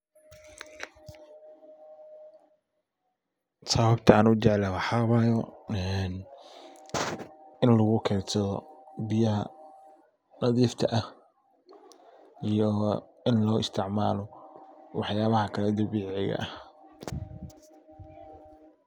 Sababta an u jeclahay waxa wayo ini lagu keydsadho biyaha nadifka ah iyo in lo isticmalo wax yalaha kale ee dabiciga ah.